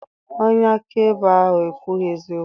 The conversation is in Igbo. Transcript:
Onye akaebe ahụ ekwughị eziokwu.